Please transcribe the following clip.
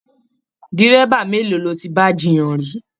Dírẹ́bà mélòó lọ tí bá jiyàn ri I?